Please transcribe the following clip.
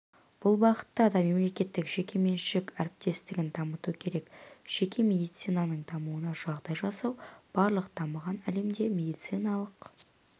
бұл бағытта да мемлекеттік-жекеменшік әріптестігін дамыту керек жеке медицинаның дамуына жағдай жасау барлық дамыған әлемде медициналық